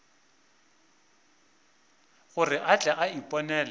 gore a tle a iponele